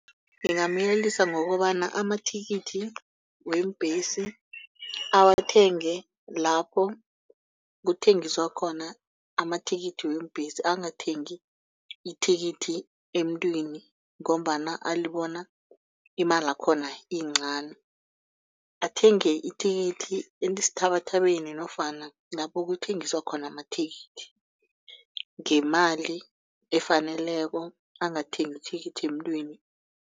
Ngingamyelelisa ngokobana amathikithi weembhesi awathenge lapho kuthengiswa khona amathikithi weembhesi angathengi ithikithi emntwini. Ngombana alibona imali yakhona yincani athenge ithikithi esithabathabeni nofana lapho kuthengiswa khona amathikithi ngemali efaneleko angathengi ithikithi emntwini.